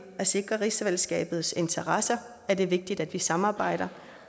at sikre rigsfællesskabets interesser er det vigtigt at vi samarbejder